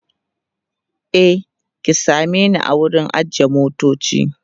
e ki same ni a wurin ajiye motoci